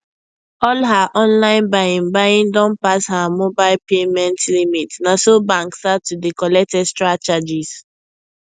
all her online buying buying don pass heer mobile payment limit naso bank start to dey collect extra charges